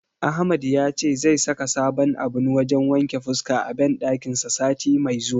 Ahmad yace zai saka sabon abun wajen wanke fuska a banɗakin sa sati mai zuwa.